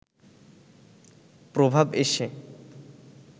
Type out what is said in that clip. প্রভাব এসে